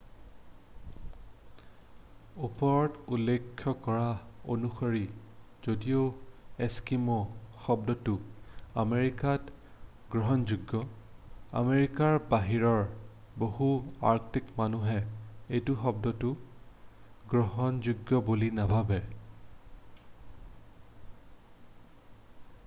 "ওপৰত উল্লেখ কৰা অনুসৰি যদিও "এস্কিমো" শব্দটো আমেৰিকাত গ্ৰহণযোগ্য আমেৰিকাৰ বাহিৰৰ বহু আৰ্কটিক মানুহে এই শব্দটো গ্ৰহণযোগ্য বুলি নাভাবে।""